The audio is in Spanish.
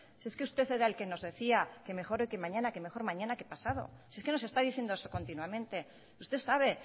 si es que usted era el que nos decía que mejor hoy que mañana que mejor mañana que pasado si es que nos está diciendo eso continuamente usted sabe